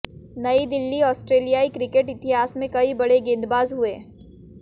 नई दिल्लीः ऑस्ट्रेलियाई क्रिकेट इतिहास में कई बड़े गेंदबाज हुए